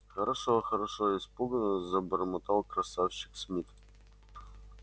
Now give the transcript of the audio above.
хорошо хорошо испуганно забормотал красавчик смит